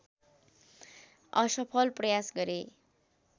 असफल प्रयास गरे